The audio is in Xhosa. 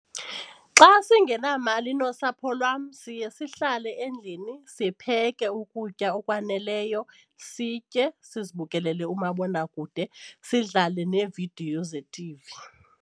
Xa singenamali nosapho lwam siye sihlale endlini sipheke ukutya okwaneleyo, sitye sizibukelele umabonakude sidlale neevidiyo ze-T_V.